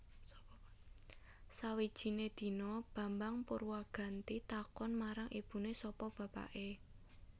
Sawijiné dina Bambang Purwaganti takon marang ibuné sapa bapaké